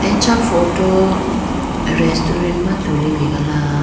acha photo resturent ma tulitegala.